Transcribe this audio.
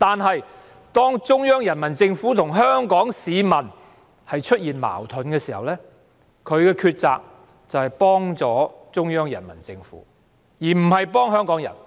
不過，當中央人民政府與香港市民出現矛盾時，她卻選擇協助中央人民政府而非香港人。